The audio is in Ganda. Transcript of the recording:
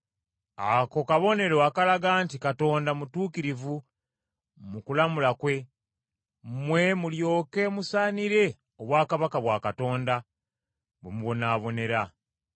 Ako kabonero akalaga nti Katonda mutuukirivu mu kulamula kwe, mmwe mulyoke musaanire obwakabaka bwa Katonda, bwe mubonaabonera,